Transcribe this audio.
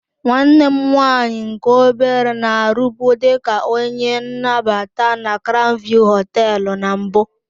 Nwanne m nwaanyị nke obere na-arụbu dị ka onye nnabata na crown view hoteelu na mbụ.